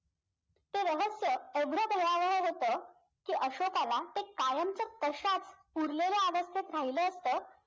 ते रहस्य एवढं होतं कि अशोकाला ते कायमचं तशाच पुरलेल्या अवस्थेत राहिलं असतं